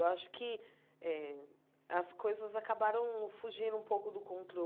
Eu acho que eh as coisas acabaram fugindo um pouco do